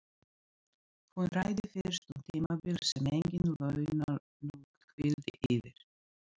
Hún ræddi fyrst um tímabil sem engin launung hvíldi yfir.